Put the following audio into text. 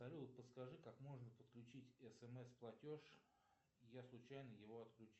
салют подскажи как можно подключить смс платеж я случайно его отключил